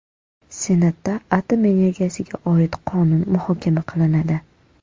Senatda atom energiyasiga oid qonun muhokama qilinadi.